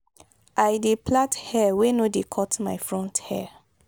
i dey plait hair wey no dey cut my front hair.